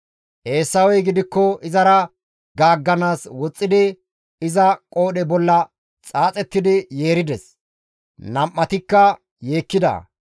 Eesawey gidikko izara gaagganaas woxxidi iza qoodhe bolla xaaxettidi yeerides; nam7atikka yeekkida.